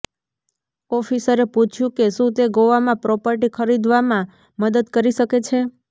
ઓફિસરે પૂછ્યુ કે શું તે ગોવામાં પ્રોપર્ટી ખરીદવામાં મદદ કરી શકે છે